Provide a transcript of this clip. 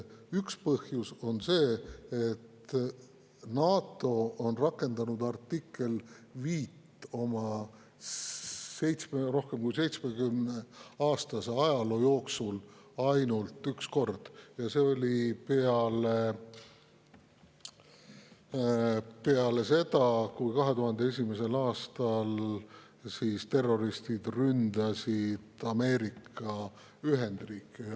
Üks põhjus on see, et NATO on rakendanud artiklit 5 oma rohkem kui 70-aastase ajaloo jooksul ainult üks kord ja see oli peale seda, kui 2001. aastal terroristid ründasid Ameerika Ühendriike.